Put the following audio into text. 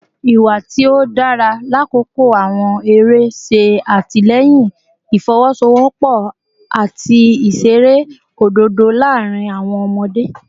Iwa ti o dara lakoko awọn ere ṣe atilẹyin ifowosowopo ati iṣere ododo laarin awọn ọmọde